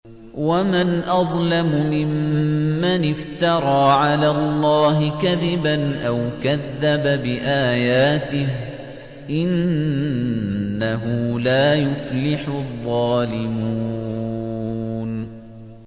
وَمَنْ أَظْلَمُ مِمَّنِ افْتَرَىٰ عَلَى اللَّهِ كَذِبًا أَوْ كَذَّبَ بِآيَاتِهِ ۗ إِنَّهُ لَا يُفْلِحُ الظَّالِمُونَ